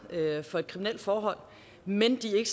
dømt for et kriminelt forhold men de er